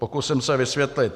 Pokusím se vysvětlit.